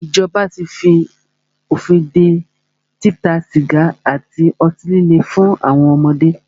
Ìjọba tí fí òfin dé títa sìgá àti ọtí líle fún àwọn ọmọdé.